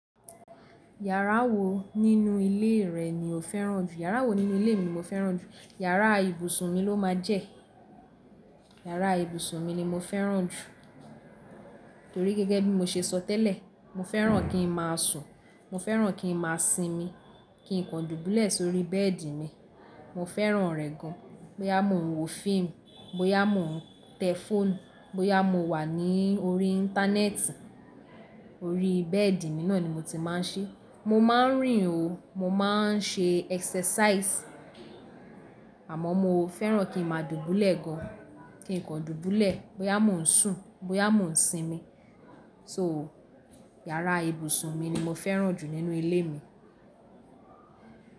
Yàrá wo nínú ilé rẹ̀ ni o fẹ́ràn jù? Yàrá wo nínú ilé mi ni mo fẹ́ràn jù? Yàrá ibùsùn mi ló máa jẹ́. Yàrá ibùsùn mi ni mo fẹ́ràn jù torí gẹ́gẹ́ bí mo ṣe sọ tẹ́lẹ̀, mo fẹ́ràn kí n máa sùn, mo fẹ́ràn kí n máa sinmi, kí n kan dùbúlẹ̀ sórí bẹ́ẹ̀dì mi. Mo fẹ́ràn rẹ̀ gan. Bóyá mo ń wo fíìmù, bóyá mo ń tẹ fóònù, bóyá mo wà ní orí íńtánẹ́ẹ̀tì, orí bẹ́ẹ̀dì mi náà ni mo ti máa ń ṣe. Mo máa ń rìn o, mo máa ń ṣe ẹ́sasàìsì, àmọ́ mo fẹ́ràn kí n máa dùbúlẹ̀ gan, kí n kan dùbúlẹ̀, bóyá mo ń sùn, bóyá mo ń sinmi. So yàrá ibùsùn mi ni mo fẹ́ràn jù nínú ilé mi.